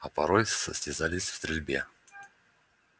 а порой состязались в стрельбе